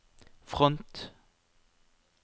front